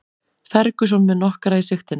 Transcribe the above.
Ferguson með nokkra í sigtinu